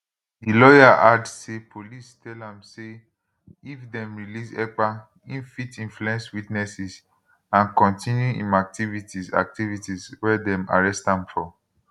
di lawyer add say police tell am say if dem release ekpa e fit influence witnesses and kontinu im activities activities wey dem arrest am for